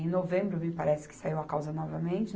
Em novembro, me parece que saiu a causa novamente.